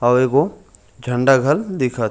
आऊ एगो झंडा घल दिखत हे।